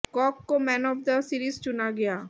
Kock को man of the series चुना गया